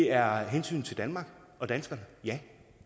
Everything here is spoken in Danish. er hensynet til danmark og danskerne ja